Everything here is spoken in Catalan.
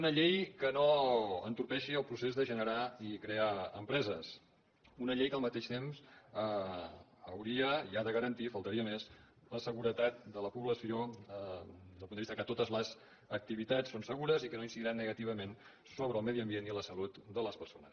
una llei que no entorpeixi el procés de generar i crear empreses una llei que al mateix temps hauria i ha de garantir faltaria més la seguretat de la població des del punt de vista que totes les activitats són segures i que no incidiran negativament sobre el medi ambient i la salut de les persones